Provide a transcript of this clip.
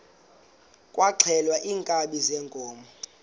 kwaxhelwa iinkabi zeenkomo